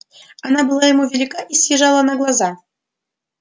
она была ему велика и съезжала на глаза